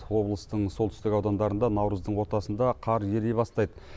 облыстың солтүстік аудандарында наурыздың ортасында қар ери бастайды